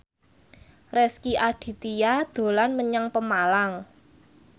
Rezky Aditya dolan menyang Pemalang